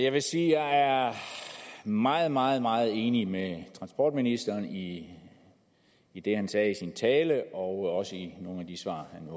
jeg vil sige at jeg er meget meget meget enig med transportministeren i i det han sagde i sin tale og også i nogle af de svar han